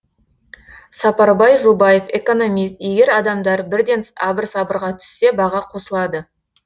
сапарбай жобаев экономист егер адамдар бірден абыр сабырға түссе баға қосылады